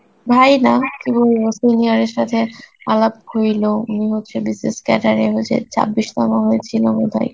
ভাই না কি বলব senior এর সথে আলাপ হইলো উনি হচ্ছে BCS cadet এ হচ্ছে ছাব্বিশ তম হয়েছিল বোধয়